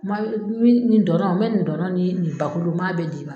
ma nin dɔn na n bɛ nin dɔn na ni nin bakulu n ma bɛɛ d'i ma.